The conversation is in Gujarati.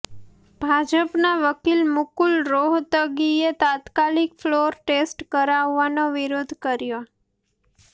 ભાજપના વકીલ મુકુલ રોહતગીએ તાત્કાલિક ફ્લોર ટેસ્ટ કરાવવાનો વિરોધ કર્યો